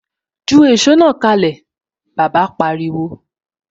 Ju èsó náà kalẹ! Bàbá pariwo.